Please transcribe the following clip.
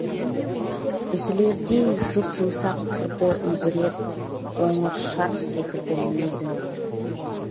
үзілердей жұп жұмсақ тұрды үлбіреп қоңыр шарф секілді мінезің де